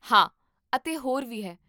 ਹਾਂ, ਅਤੇ ਹੋਰ ਵੀ ਹੈ